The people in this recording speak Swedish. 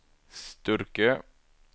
Sturkö